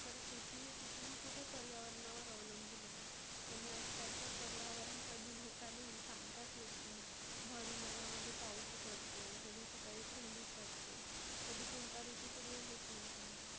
तर शेती हे कुठे ना कुठे पर्यावरण अवलंबुन आहे. आणि आज काल तर पर्यावरण कधी धोका देईल सांगताच येत नाही. भर उन्हाळ्यामध्ये पाऊस पडतोय, कधी सकाळी थंडीच वाटते, कधी कोणता ऋतू सुरु आहे हेच नाही समजत.